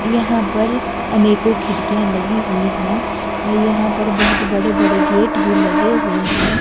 यहां पर अनेकों खिड़कियां लगी हुई है और यहां पर बहोत बड़े बड़े गेट भी लगे हुए है।